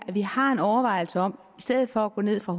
at vi har en overvejelse om stedet for at gå ned fra